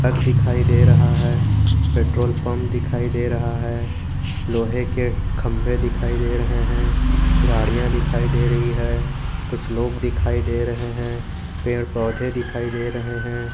तक दिखाई दे रहा है पेट्रोल पंप दिखाई दे रहा है लोहे के खंभे दिखाई दे रहे हैं गाडियां दिखाई दे रही है कुछ लोग दिखाई दे रहे हैं पेड़ पौधे दिखाई दे रहे हैं।